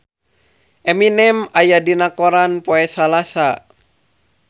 Eminem aya dina koran poe Salasa